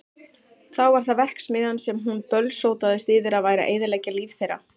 Þá var það verksmiðjan sem hún bölsótaðist yfir að væri að eyðileggja líf þeirra.